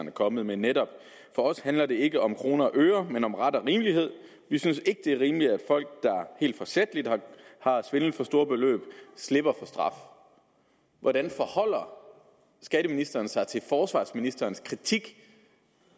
er kommet med netop for os handler det ikke om kroner og øre men om ret og rimelighed vi synes ikke det er rimeligt at folk der helt forsætligt har svindlet for store beløb slipper for straf hvordan forholder skatteministeren sig til forsvarsministerens kritik